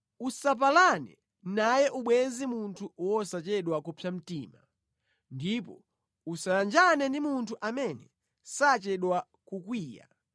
Usapalane naye ubwenzi munthu wosachedwa kupsa mtima ndipo usayanjane ndi munthu amene sachedwa kukwiya